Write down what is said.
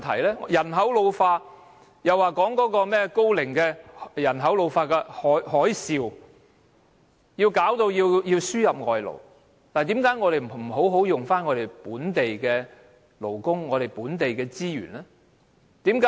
面對人口老化，政府指"高齡海嘯"導致安老服務業需要輸入外勞，但為何不能先行善用本地勞工和本地資源呢？